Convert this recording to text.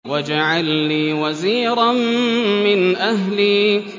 وَاجْعَل لِّي وَزِيرًا مِّنْ أَهْلِي